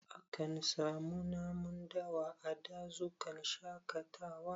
A kan samu namun dawa a dazukan shaƙatawa